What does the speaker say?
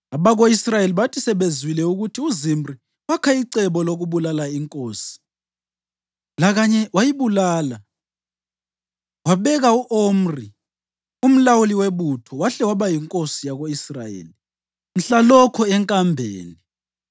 Abako-Israyeli bathi sebezwile ukuthi uZimri wakha icebo lokubulala inkosi lakanye wayibulala, babeka u-Omri, umlawuli webutho wahle waba yinkosi yako-Israyeli mhlalokho enkambeni.